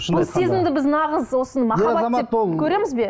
бұл сезімді біз нағыз осыны махаббат деп көреміз бе